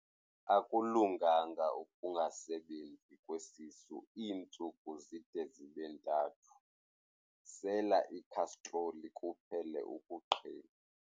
Akulunganga ukungasebenzi kwesisu iintsuku zide zibe ntathu, sela ikhastroli kuphele ukuqhinwa.